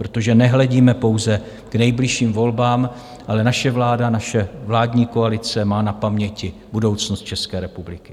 Protože nehledíme pouze k nejbližším volbám, ale naše vláda, naše vládní koalice má na paměti budoucnost České republiky.